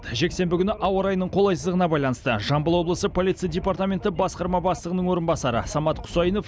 жексенбі күні ауа райының қолайсыздығына байланысты жамбыл облысы полиция департаменті басқарма бастығының орынбасары самат құсайынов